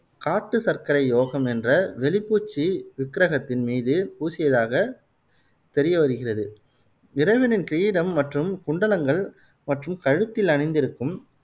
காட்டு சர்க்கரை யோகம் என்ற வெளிப்பூச்சு விக்ரகத்தின் மீது பூசியதாக தெரிய வருகிறது. இறைவனின் கிரீடம் மற்றும் குண்டலங்கள், மற்றும் கழுத்தில் அணிந்திருக்கும்